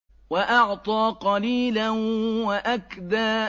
وَأَعْطَىٰ قَلِيلًا وَأَكْدَىٰ